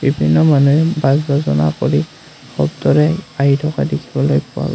কিছু মানুহে কৰি পথটোৰে আহি থকা দেখিবলে পোৱা গৈ--।